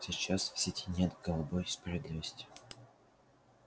сейчас в сети нет голубой справедливости